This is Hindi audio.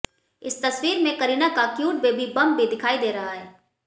इस तस्वीर में करीना का क्यूट बेबी बंप भी दिखाई दे रहा है